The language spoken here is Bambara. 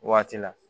Waati la